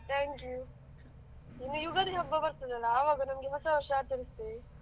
Thank you ಇನ್ನು ಯುಗಾದಿ ಹಬ್ಬ ಬರ್ತದೆ ಅಲ್ಲ, ಆವಾಗ ನಮಗೆ ಹೊಸ ವರ್ಷ ಆಚರಿಸುತ್ತೇವೆ.